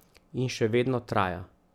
In še vedno traja.